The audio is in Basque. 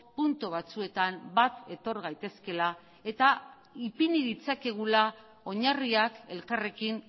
puntu batzuetan bat etor gaitezkeela eta ipini ditzakegula oinarriak elkarrekin